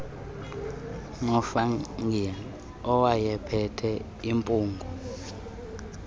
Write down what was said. nofungie owayephethe impungo